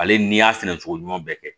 Ale n'i y'a sɛnɛ cogo ɲuman bɛɛ kɛ